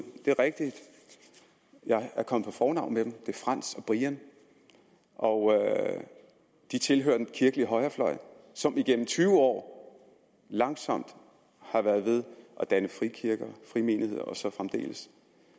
det er rigtigt jeg er kommet på fornavn med dem er frands og brian og de tilhører den kirkelige højrefløj som igennem tyve år langsomt har været ved at danne frikirker frimenigheder og så fremdeles